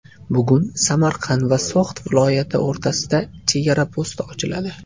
Bugun Samarqand va So‘g‘d viloyati o‘rtasidagi chegara posti ochiladi.